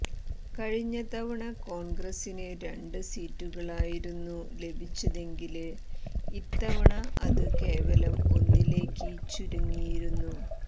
കഴിഞ്ഞ തവണ കോണ്ഗ്രസിന് രണ്ട് സീറ്റുകളായിരുന്നു ലഭിച്ചതെങ്കില് ഇത്തവണ അത് കേവലം ഒന്നിലേക്ക് ചുരങ്ങിയിരുന്നു